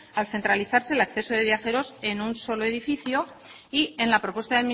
al centralizarse el acceso de viajeros en un solo edificio y en la propuesta